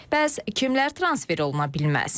Bəs kimlər transfer oluna bilməz?